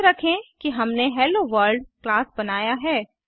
याद रखें कि हमने हेलोवर्ल्ड क्लास बनाया है